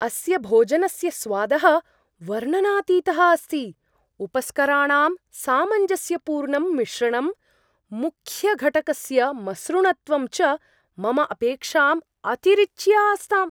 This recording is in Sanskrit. अस्य भोजनस्य स्वादः वर्णनातीतः अस्ति, उपस्कराणां सामञ्जस्यपूर्णं मिश्रणं, मुख्यघटकस्य मसृणत्वं च मम अपेक्षाम् अतिरिच्य आस्ताम्।